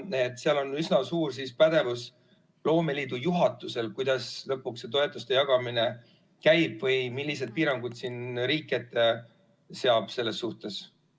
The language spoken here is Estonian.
Seega, seal on üsna suur pädevus loomeliidu juhatusel, kes lõpuks otsustab, kuidas see toetuste jagamine käib või millised piirangud riik ette seab selles suhtes.